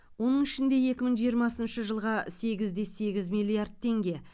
оның ішінде екі мың жиырмасыншы жылға сегіз де сегіз миллиард теңге